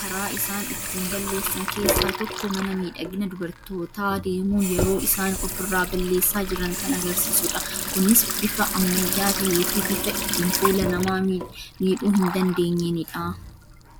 karaa isaan ittin balleeessa keessaa tokko mana miidhagina dubartootaa deemuun yeroo isaan ofirraa balleessaa jiran kan agarsiisudha. Kunis bifa ammayyaa tahee fi bifa ittiin fuula namaa miidhuu hin dandeenyeenidha.